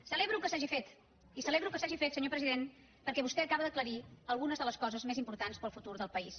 celebro que s’hagi fet i celebro que s’hagi fet senyor president perquè vostè acaba d’aclarir algunes de les coses més importants per al futur del país